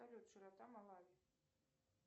салют широта малави